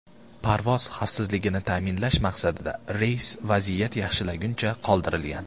Parvoz xavfsizligini ta’minlash maqsadida reys vaziyat yaxshilanguncha qoldirilgan.